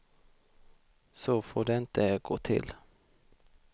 Så får det inte gå till.